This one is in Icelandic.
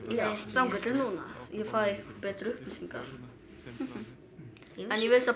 þangað til núna ég fæ betri upplýsingar en ég vissi að